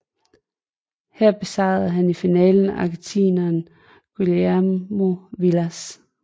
Her besejrede han i finalen argentineren Guillermo Vilas